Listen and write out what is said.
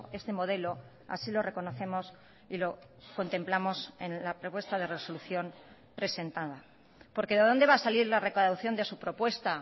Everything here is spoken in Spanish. este modelo así lo reconocemos y lo contemplamos en la propuesta de resolución presentada porque de dónde va a salir la recaudación de su propuesta